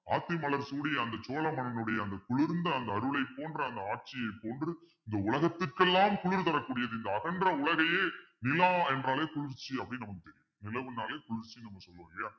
ஆத்தி மலர் சூடிய அந்த சோழமன்னனுடைய அந்த குளிர்ந்த அந்த அருளை போன்ற அந்த ஆட்சியை போன்று இந்த உலகத்துக்கெல்லாம் குளிர் தரக்கூடியது இந்த அகன்ற உலகையே நிலா என்றாலே குளிர்ச்சி அப்பிடின்னு நமக்கு தெரியும் நிலவுனாலே குளிர்ச்சின்னு நம்ம சொல்லுவோம் இல்லையா